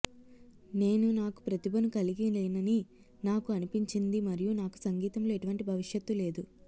నేను నాకు ప్రతిభను కలిగి లేనని నాకు అనిపించింది మరియు నాకు సంగీతంలో ఎటువంటి భవిష్యత్తు లేదు